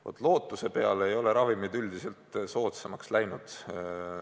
Vaat, lootuse peale ei ole ravimid üldiselt soodsamaks läinud.